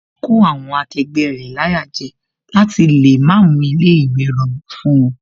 Ó ń kó àwọn akẹgbẹ́ rẹ̀ láyà jẹ láti lè má mú ilé ìwé rọgbọ fún wón